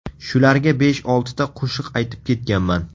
Shularga besh-oltita qo‘shiq aytib ketganman.